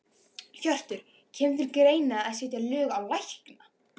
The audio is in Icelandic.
Hjörtur: Kemur til greina að setja lög á lækna?